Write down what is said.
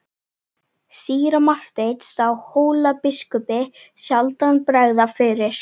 Síra Marteinn sá Hólabiskupi sjaldan bregða fyrir.